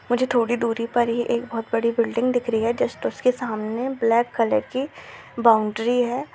मुझे थोड़ी दूरी पर ही एक बहुत बड़ी बिल्डिंग दिख रही है जस्ट उसके सामने ब्लैक कलर की बाउंड्री है।